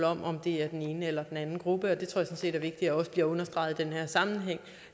om om det er den ene eller den anden gruppe det tror jeg sådan set er vigtigt også bliver understreget i den her sammenhæng